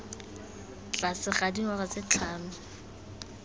tlase ga dingwaga tse tlhano